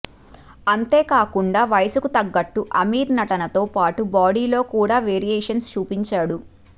అంతేకాకుండా వయసుకు తగ్గట్టు అమీర్ నటనతో పాటు బాడీలో కూడా వేరియేషన్స్ చూపించాడు